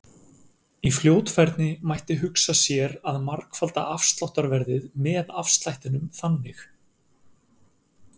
Í fljótfærni mætti hugsa sér að margfalda afsláttarverðið með afslættinum þannig: